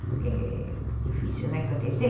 É difícil, né, acontecer?